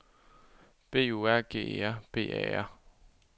B U R G E R B A R